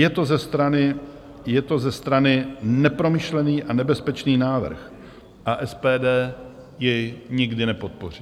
Je to ze strany nepromyšlený a nebezpečný návrh a SPD jej nikdy nepodpoří.